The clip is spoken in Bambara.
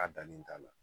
A dannen t'a la